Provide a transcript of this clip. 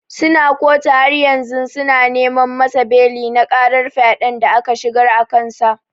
Suna kotu haryanzu suna neman masa beli na karar fyaden da aka shigar akansa.